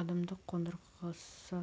адымдық қондырғысы